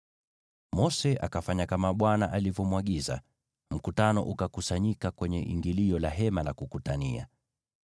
Mose akafanya kama Bwana alivyomwagiza, na mkutano ukakusanyika kwenye ingilio la Hema la Kukutania.